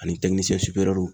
Ani